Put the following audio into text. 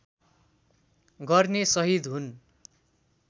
गर्ने सहीद हुन्